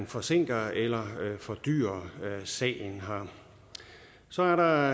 forsinker eller fordyrer sagen så er der